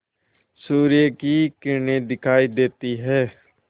सूर्य की किरणें दिखाई देती हैं